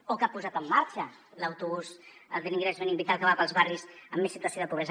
o que ha posat en marxa l’autobús de l’ingrés mínim vital que va pels barris amb més situació de pobresa